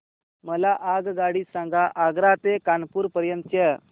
मला आगगाडी सांगा आग्रा ते कानपुर पर्यंत च्या